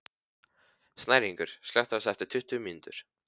Snæringur, slökktu á þessu eftir tuttugu mínútur.